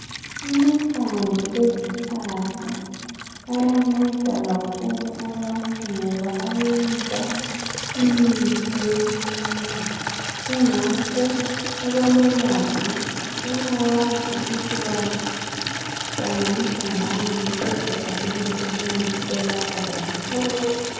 Amahlamvu ezihlahla ayanceda kakhulu abantu ngoba ayenza imithi yesintu kungakho abalolwazi bayawazi ukuthi bawahlanganisa lani ukuze ayenze umuthi olapha kakhulu.